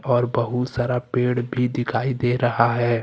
और बहुत सारा पेड़ भी दिखाई दे रहा है।